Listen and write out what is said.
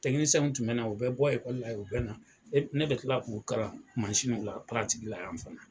tun bɛ na u bɛ bɔ ekɔli la u bɛ na, ne bɛ tila k'u kalan mansin ninnu la, la yan fana.